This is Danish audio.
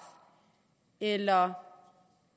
eller om